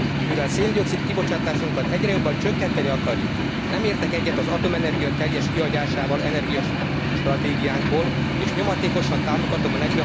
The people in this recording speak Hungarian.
Mivel szén dioxid kibocsátásunkat egyre jobban csökkenteni akarjuk, nem értek egyet az atomenergia teljes kihagyásával energiastratégiánkból, és nyomatékosan támogatom a